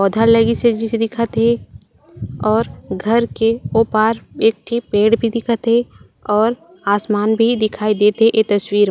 पौधा लगिस हे जइसे दिखत हे और घर के ओ पार एक ठी पेड़ भी दिखत हे और आसमान भी दिखाई देत हे ये तस्वीर मा--